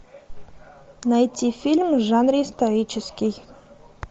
найти фильм в жанре исторический